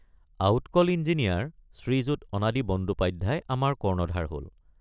Out call engineer Shriyut Anadi Bandyopadhyay আমাৰ কৰ্ণধাৰ হল।